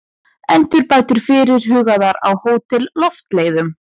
Endurbætur fyrirhugaðar á Hótel Loftleiðum